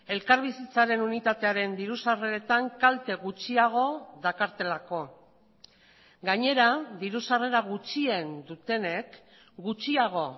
elkarbizitzaren unitatearen diru sarreretan kalte gutxiago dakartelako gainera diru sarrera gutxien dutenek gutxiago